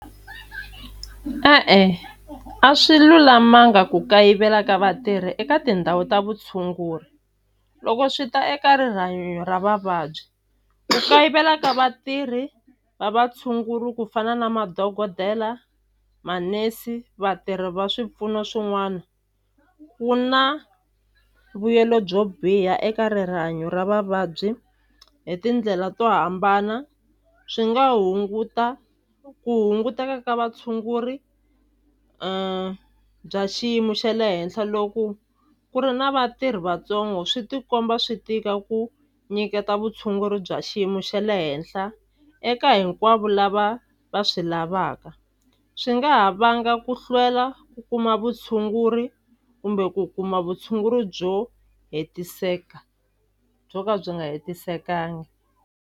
E-e a swi lulamanga ku kayivela ka vatirhi eka tindhawu ta vutshunguri loko swi ta eka rihanyo ra vavabyi ku kayivela ka vatirhi va vatshunguri ku fana na madokodela manese vatirhi va swipfuno swin'wana wu na mbuyelo byo biha eka ra vavabyi hi tindlela to hambana swi nga hunguta ku hunguteka ka vatshunguri bya xiyimo xa le henhla loku ku ri na vatirhi vatsongo swi tikomba swi tika ku nyiketa vutshunguri bya xiyimo xa le henhla eka hinkwavo lava va swi lavaka swi nga ha vanga ku hlwela ku kuma vutshunguri kumbe ku kuma vutshunguri byo hetiseka byo ka byi nga hetiselekanga.